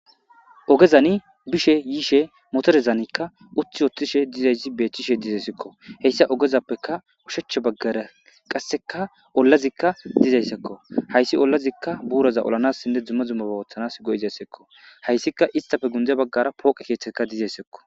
Ogezan bishe yishe motorezani uti utidayisi betesiko hayisa ogezpe ushacha baggara olazika dizayisako hayisa olazi burata olanasine duma duma bata go'izasako hayisika isitape sintha baggara poqeti dizayisako.